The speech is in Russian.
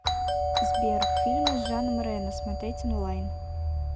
сбер фильмы с жаном рено смотреть онлайн